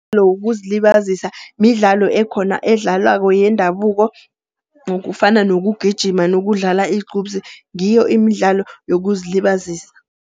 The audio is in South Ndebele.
wokuzilibazisa, midlalo ekhona edlalwako yendabuko. Kufana nokugijima nokudlala iqhubsi ngiyo imidlalo yokuzilibazisa.